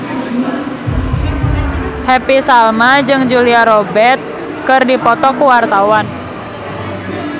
Happy Salma jeung Julia Robert keur dipoto ku wartawan